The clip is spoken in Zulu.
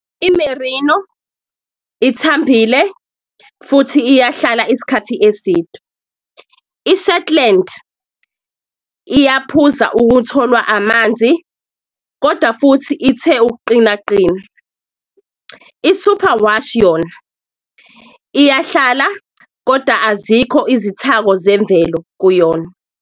I-Merino ithambile futhi iyahlala isikhathi eside, i-Shetland iyaphuza ukutholwa amanzi koda futhi ithe ukuqinaqina. I-Superwash yona iyahlala koda azikho izithako zemvelo kuyona.